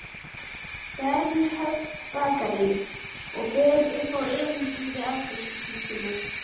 Bernhöftsbakaríi og ber upp erindið við afgreiðslustúlkuna.